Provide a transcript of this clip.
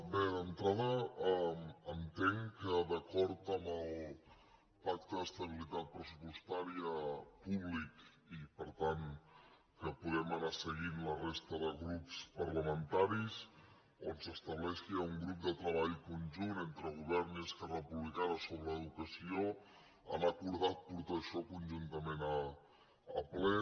bé d’entrada entenc que d’acord amb el pacte d’estabilitat pressupostària públic i per tant que podem anar seguint la resta de grups parlamenta·ris on s’estableix que hi ha un grup de treball conjunt entre govern i esquerra republicana sobre l’educació han acordat portar això conjuntament al ple